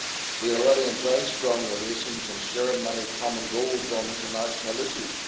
We already enjoy strong relations and share many common goals on international issues.